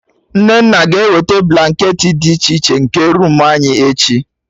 Nnenna ga ewete blanketị dị iche iche, nke roomu anyị, echi